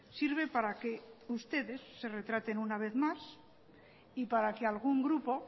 sirve para que ustedes se retraten una vez más y para que algún grupo